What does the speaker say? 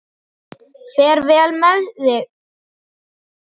Fer vel með sig, ég trúi ekki öðru.